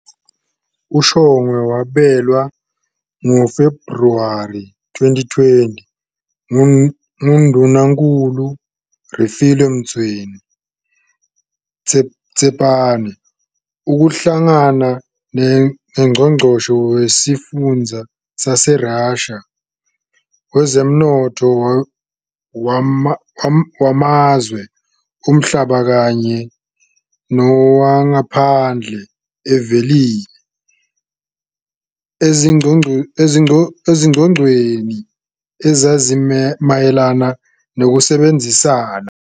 UShongwe wabelwa ngoFebhuwari 2020 nguNdunankulu uRefilwe Mtsweni-Tsipane ukuhlangana noNgqongqoshe wesifunda saseRussia iSverdlovsk wezomnotho wamazwe omhlaba kanye nowangaphandle, uVisiliy Kozlov, ezingxoxweni ezazimayelana nokusebenzisana.